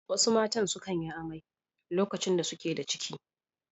Wasu matan sukan yi amai lokacin da suke da ciki.